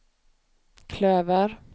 klöver